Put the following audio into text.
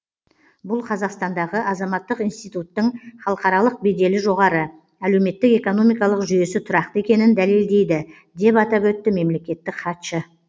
бұл қазақстандағы азаматтық институттың халықаралық беделі жоғары әлеуметтік экономикалық жүйесі тұрақты екенін дәлелдейді деп атап өтті мемлекеттік хатшы